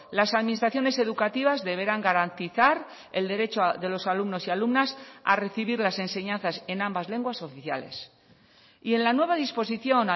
las administraciones educativas deberán garantizar el derecho de los alumnos y alumnas a recibir las enseñanzas en ambas lenguas oficiales y en la nueva disposición